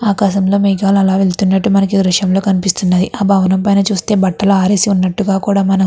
ఆకాశం లో మేఘాలు అలా వెళ్తున్నట్టు మనకీ దృశ్యం లో కనిపిస్తున్నది ఆ భవనం పైన చూస్తే బట్టలు అరెసి వునట్టుగా కూడా మనం.